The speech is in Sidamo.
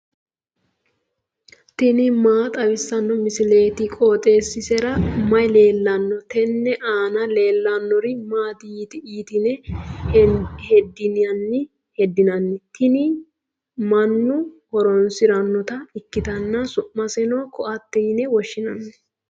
tini maa xawissanno misileeti? qooxeessisera may leellanno? tenne aana leellannori maati yitine heddinanni? tini mannu horoonsirannota ikkitanna su"maseno ko"attete yine woshshinanni.